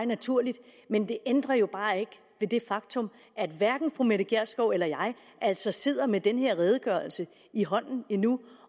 naturligt men det ændrer jo bare ikke ved det faktum at hverken fru mette gjerskov eller jeg altså sidder med den her redegørelse i hånden endnu